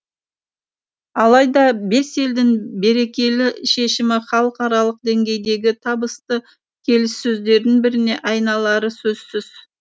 алайда бес елдің берекелі шешімі халықаралық деңгейдегі табысты келіссөздердің біріне айналары сөзсіз